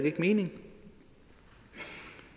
ikke mening